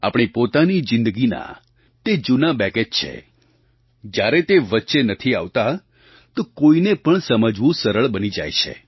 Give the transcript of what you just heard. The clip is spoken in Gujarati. આપણી પોતાની જિંદગીના તે જૂના બેગેજ છે જ્યારે તે વચ્ચે નથી આવતા તો કોઈને પણ સમજવું સરળ બની જાય છે